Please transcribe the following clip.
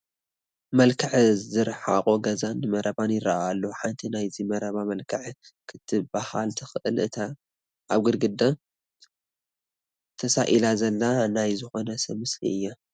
መልክዕ ዝርሓቖ ገዛን መረባን ይርአ ኣሎ፡፡ ሓንቲ ናይዚ መረባ መልክዕ ክትበሃል ትኽእል እታ ኣብ ግድግዳ ተሳኢላ ዘላ ናይ ዝኾነ ሰብ ምስሊ እያ፡፡